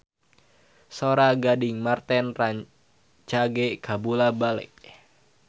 Sora Gading Marten rancage kabula-bale